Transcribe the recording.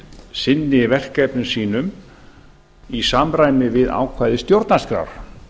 sinni verkefnum sínu í samræmi við ákvæði stjórnarskrár